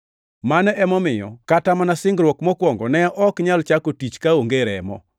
Mano emomiyo kata mana singruok mokwongo ne ok nyal chako tich kaonge remo.